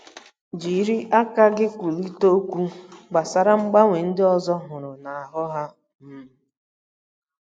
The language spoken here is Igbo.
Jiri aka gị kwulite okwu gbasara mgbanwe ndị ọzọ hụrụ n’ahụ́ ha um.